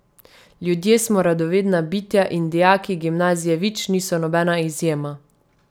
Ljudje smo radovedna bitja in dijaki Gimnazije Vič niso nobena izjema.